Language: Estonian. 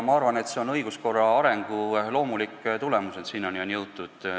Ma arvan, et see on õiguskorra arengu loomulik tulemus, et selleni on jõutud.